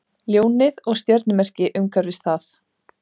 Ljónið og stjörnumerki umhverfis það.